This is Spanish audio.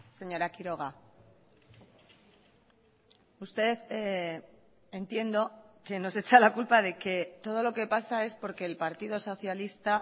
señora quiroga usted entiendo que nos echa la culpa de que todo lo que pasa es por que el partido socialista